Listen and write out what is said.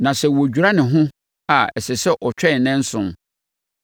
Na sɛ wɔdwira ne ho a, ɛsɛ sɛ ɔtwɛn nnanson.